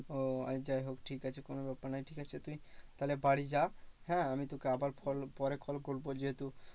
ও আচ্ছা যাই হোক ঠিক আছে কোনো ব্যাপার নয় ঠিক আছে তুই তাহলে বাড়ি যা হ্যাঁ আমি তোকে আবার পরে call করবো যেহেতু